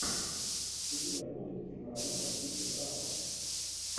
у тебя будет киноработа в духе драмы